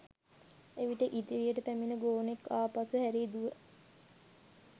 එවිට ඉදිරියට පැමිණි ගෝනෙක් ආපසු හැරී දුව